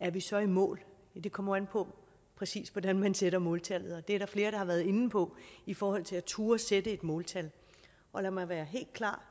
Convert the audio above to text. er vi så i mål det kommer an på præcis hvordan man sætter måltallet det er der flere der har været inde på i forhold til at turde sætte et måltal og lad mig være helt klar